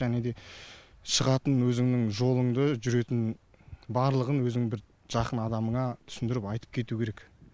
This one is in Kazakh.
және де шығатын өзіңнің жолыңды жүретін барлығын өзіңнің бір жақын адамыңа түсіндіріп айтып кету керек